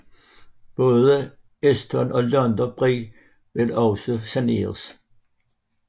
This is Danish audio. Både Euston og London Bridge vil også saneres